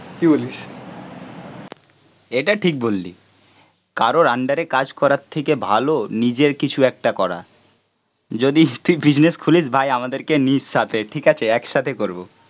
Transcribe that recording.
এটা ঠিক বললি কারো আন্ডারে কাজ করার থেকে ভালো নিজের কিছু একটা করা, যদি তুই বিজনেস খুলিস ভাই আমাদেরকে নিস সাথে, ঠিক আছে? একসাথে করবো